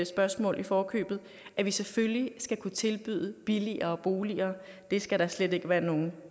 spørgsmål i forkøbet at vi selvfølgelig skal kunne tilbyde billigere boliger det skal der slet ikke være nogen